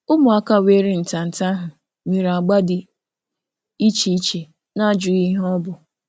Ụmụaka họrọrọ nri nwere agba dị iche iche na-enweghị ịjụ ihe ọ bụ.